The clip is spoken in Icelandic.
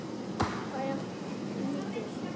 Það er lítið